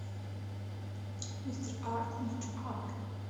мистер арт мистер арт